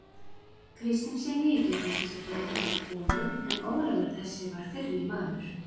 Kristinssyni í gegnum þessa göldróttu konu, en Ólafur þessi var fyrri maður